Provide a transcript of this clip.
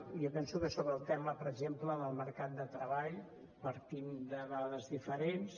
i jo penso que sobre el tema per exemple del mercat de treball partim de dades diferents